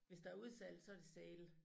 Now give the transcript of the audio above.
Hvis der udsalg så det sale